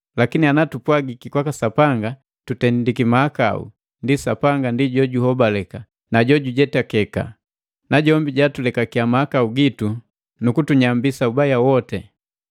Lakini ana tupwagiki kwaka Sapanga tutendiki mahakau, ndienu Sapanga ndi juhobaleka na jo jujetakeka, najombi jatulekakiya mahakau gitu nu kutunyambisa ubaja woti.